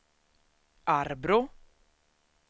Arbrå